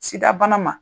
Sida bana ma